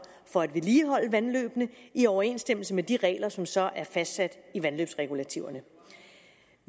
for at vedligeholde vandløbene i overensstemmelse med de regler som så er fastsat i vandløbsregulativerne